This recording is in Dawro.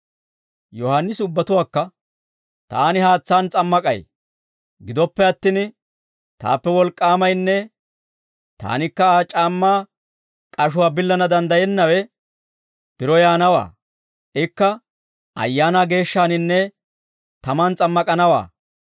Yohaannisi ubbatuwaakka, «Taani haatsaan s'ammak'ay; gidoppe attin taappe wolk'k'aamaynne taanikka Aa c'aammaa k'ashuwaa billana danddayennawe biro yaanawaa; ikka Ayaanaa Geeshshaaninne tamaan s'ammak'anawaa;